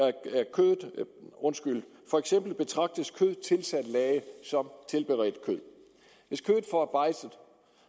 kød for eksempel betragtes kød tilsat lage som tilberedt kød hvis kødet forarbejdes